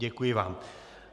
Děkuji vám.